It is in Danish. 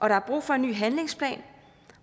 der er brug for en ny handlingsplan